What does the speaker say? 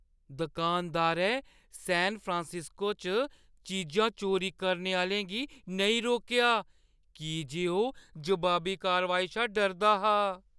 दुकानदारै San Francisco च चीजां चोरी चुक्कने आह्‌लें गी नेईं रोकेआ की जे ओह् जवाबी कारवाई शा डरदा हा।